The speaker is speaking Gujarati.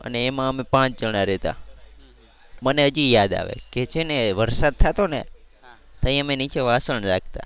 અને એમાં અમે પાંચ જણા રહેતા. મને હજી યાદ આવે કે છે ને વરસાદ થતો ને ત્યારે અમે નીચે વાસણ રાખતા